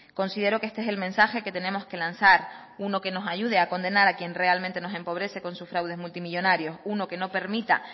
considero que este es el mensaje que tenemos que lanzar uno que nos ayude a condenar a quien realmente nos empobrece con sus fraudes multimillónarios uno que no permita